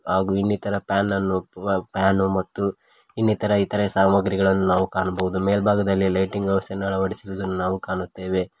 ಹಾಗು ಇನ್ನಿತರ ಪ್ಯಾನನ್ನು ವ ಪ್ಯಾನು ಮತ್ತು ಇನ್ನಿತರ ಇತರೆ ಸಾಮಗ್ರಿಗಳನ್ನು ನಾವು ಕಾಣಬೋದು ಮೇಲ್ಭಾಗದಲ್ಲಿ ಲೈಟಿಂಗ್ ವ್ಯವಸ್ಥೆಯನ್ನು ಅಳವಡಿಸಿರುವುದನ್ನು ನಾವು ಕಾಣುತ್ತೇವೆ.